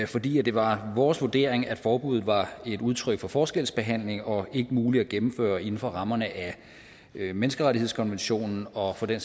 fordi det var vores vurdering at forbuddet var et udtryk for forskelsbehandling og ikke muligt at gennemføre inden for rammerne af menneskerettighedskonventionen og for den